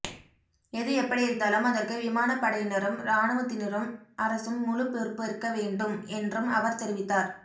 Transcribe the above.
எது எப்படியிருந்தாலும் அதற்கு விமானப் படையினரும் இராணுவத்தினரும் அரசும் முழுப் பொறுப்பேற்க வேண்டும் என்றும் அவர் தெரிவித்தார்